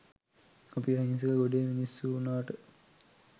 අපි අහිංසක ගොඩේ මිනිස්සුවුනාට